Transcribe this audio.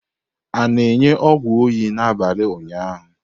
A na-enye ọgwụ oyi n'abalị ụnyaahụ?